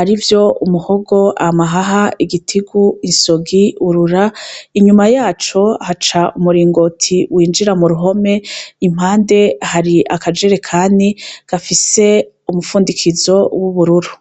arivyo umuhogo, amahaha, igitigu, isogi urura inyuma yaco haca umuringoti winjira mu ruhome impande hari akajerekani gafise umufundikizo w' ubururu.